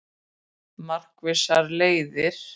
Markvissar leiðir